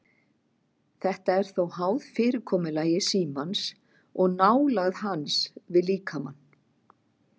Þetta er þó háð fyrirkomulagi símans og nálægð hans við líkamann.